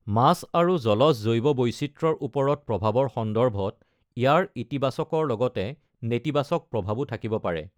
মাছ আৰু জলজ জৈৱ বৈচিত্ৰ্যৰ ওপৰত প্ৰভাৱৰ সন্দৰ্ভত, ইয়াৰ ইতিবাচকৰ লগতে নেতিবাচক প্ৰভাৱো থাকিব পাৰে।